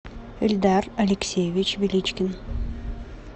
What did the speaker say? эльдар алексеевич величкин